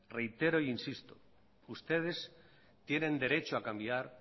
reitero e insisto que ustedes tienen derecho a cambiar